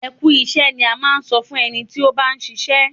Ẹ kú iṣẹ́ ni a máa ń sọ fún ẹni tí ó bá ń ṣiṣẹ́.